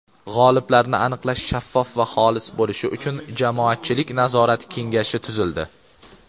G‘oliblarni aniqlash shaffof va xolis bo‘lishi uchun Jamoatchilik nazorati kengashi tuzildi.